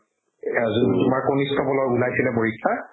এজন তোমাৰ কনিষ্ঠবলৰ ওলাইছিলে পৰীক্ষা